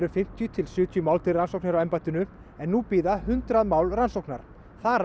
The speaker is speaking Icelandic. um fimmtíu til sjötíu mál til rannsóknar hjá embættinu nú bíða hundrað mál rannsóknar þar